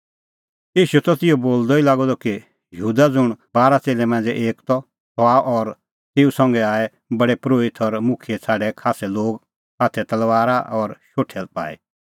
ईशू त इहअ बोलदअ ई लागअ द कि यहूदा ज़ुंण बारा च़ेल्लै मांझ़ै एक त सह आअ और तेऊ संघै आऐ प्रधान परोहिता और मुखियै छ़ाडै खास्सै लोग हाथै तलबारा और शोठै पाई